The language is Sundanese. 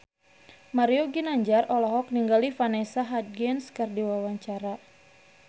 Mario Ginanjar olohok ningali Vanessa Hudgens keur diwawancara